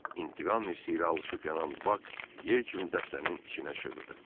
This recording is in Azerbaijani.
İntiqam hissi ilə alışıb yanan Bak yel kimi dəstənin içinə şığıdı.